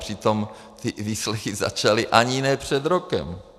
Přitom ty výslechy začaly ani ne před rokem.